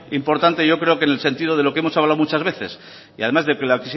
importante yo creo que en el sentido que hemos hablado muchas veces y además desde las